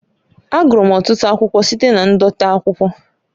Agụrụ m ọtụtụ akwụkwọ site na ndote akwụkwọ